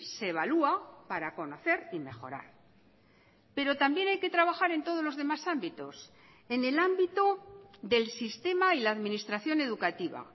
se evalúa para conocer y mejorar pero también hay que trabajar en todos los demás ámbitos en el ámbito del sistema y la administración educativa